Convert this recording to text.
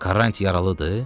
Karrant yaralıdır?